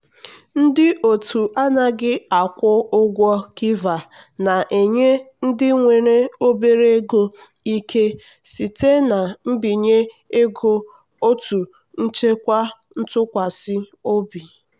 ndị otu anaghị akwụ ụgwọ kiva na-enye ndị nwere obere ego ike site na mbinye ego otu nchekwa ntụkwasị obi.